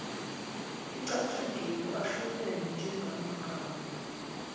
acatshangiwe ahlobene njengamagama